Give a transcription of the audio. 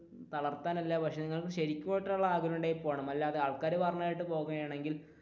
തളർത്താനല്ല പക്ഷെ നിങ്ങൾ ശരിക്കുമുള്ള ആഗ്രഹം ഉണ്ടെങ്കിൽ പോണം അല്ലാണ്ട് ആൾക്കാർ പറയുന്നത് കേട്ട് പോകുകയാണെങ്കിൽ